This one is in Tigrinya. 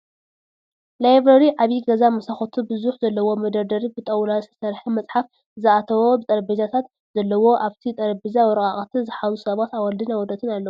ላይብረሪ ዓብይ ገዛ መሳኩቲ ብዙሕ ዘለዎ መደርደሪ ብጣውላ ዝተሰርሐ መፅሓፍ ዝኣየተዎ ጠረቤዛታት ዘለዎ ኣብቲ ጠረቤዛ ወረቃቅቲ ዝሓዙ ሰባት ኣዋልድን ኣወዳትን ኣለዉ።